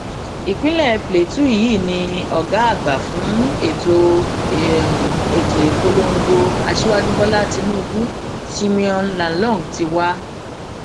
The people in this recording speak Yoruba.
ìpínlẹ plateau yìí ni ọgá àgbà fún ètò ètò ìpolongo aṣíwájú bọlá tinubu simeon lalong ti wá